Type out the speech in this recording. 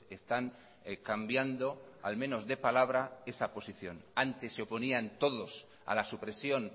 están cambiando al menos de palabra esa posición antes se oponían todos a la supresión